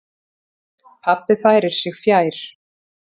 Pabbi færir sig fjær.